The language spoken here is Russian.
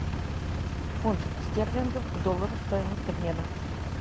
фунт стерлингов к доллару стоимость обмена